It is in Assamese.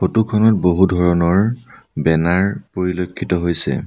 ফটো খনত বহু ধৰণৰ বেনাৰ পৰিলক্ষিত হৈছে।